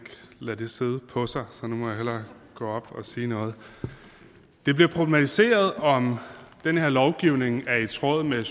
lade det sidde på sig så nu må jeg hellere gå op og sige noget det bliver problematiseret om den her lovgivning er i tråd med